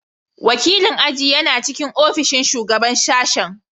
Wakilin aji yana cikin ofishin Shugaban Sashen.